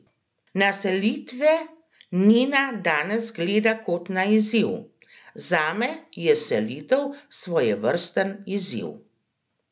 Na selitve Nina danes gleda kot na izziv: "Zame je selitev svojevrsten izziv.